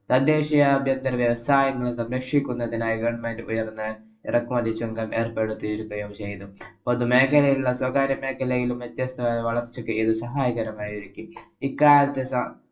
തദ്ദേശിയ അഭ്യന്തര വ്യവസായങ്ങളെ സംരക്ഷിക്കുന്നതിനായി government ഉയര്‍ന്ന എറക്കുമതി ചുങ്കം ഏര്‍പ്പെടുത്തുകയും ചെയ്തു. പൊതുമേഖലയിലും, സ്വകാര്യ മേഖലയിലെയും വ്യത്യസ്തമായ വളര്‍ച്ചയ്ക്ക് സഹായകരമായിരിക്കും. ഇക്കാലത്ത്